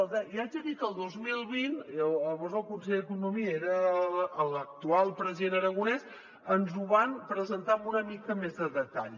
li haig de dir que el dos mil vint llavors el conseller d’economia era l’actual president aragonès ens ho van presentar amb una mica més de detall